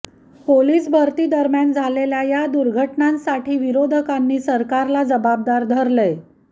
police भरतीदरम्यान झालेल्या या दुर्घटनांसाठी विरोधकांनी सरकारला जबाबदार धरलंय